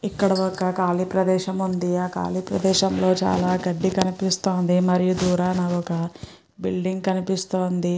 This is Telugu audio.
ఇక్కడ ఒక ఖాళీ ప్రదేశం ఉంది ఆ ఖాళీ ప్రదేశం లో చాలా గడ్డి కనిపిస్తోంది మరియు దూరాన ఒక బిల్డింగ్ కనిపిస్తోంది.